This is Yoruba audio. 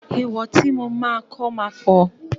Èèwọ̀ tí mo máa kọ́ ma pọ̀.